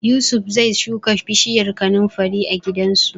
Yusuf zai shuka bishiyar kanunfari a gidansu.